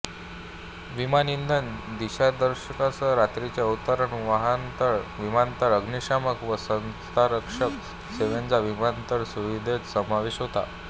विमान इन्धन दिशादर्शनासह रात्रीचे अवतरण वाहनतळ विमानतळ अग्निशामक व संरक्षक सेवांचा विमानतळ सुविधेत समावेश होतो